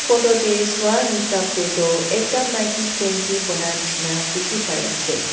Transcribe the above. photo teh sua hisab teh toh ekta maiki candy bonai nisna dikhi pai ase.